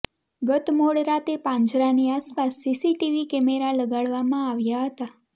ગત મોડ રાતે પાંજરાની આસપાસ સીસીટીવી કેમેરા લગાડવામાં આવ્યાં હતા